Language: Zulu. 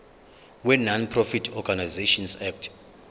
wenonprofit organisations act